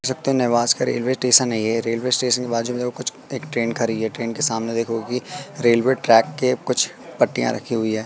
शक्ति निवास का रेलवे स्टेशन है ये रेलवे स्टेशन के बाजू में कुछ एक ट्रेन खरी है ट्रेन के सामने देखोगे कि रेलवे ट्रैक के कुछ पट्टियां रखी हुई है।